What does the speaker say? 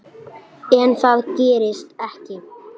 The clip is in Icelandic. En það gerist ekki.